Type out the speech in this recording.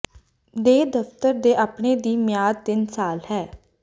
ਦੇ ਦਫ਼ਤਰ ਦੇ ਆਪਣੇ ਦੀ ਮਿਆਦ ਤਿੰਨ ਸਾਲ ਹੈ